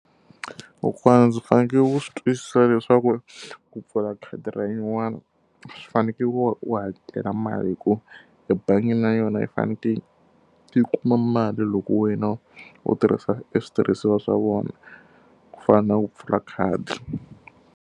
Kokwana ndzi fanekele ku swi twisisa leswaku ku pfula khadi ra yin'wani swi fanekele u u hakela mali hikuva ebangini na yona yi fanekele yi kuma mali loko wena u tirhisa switirhisiwa swa vona, ku fana na ku pfula khadi.